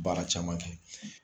Baara caman kɛ.